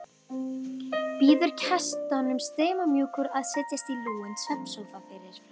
Býður gestunum stimamjúkur að setjast í lúinn svefnsófa fyrir framan.